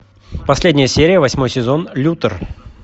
последняя серия восьмой сезон лютер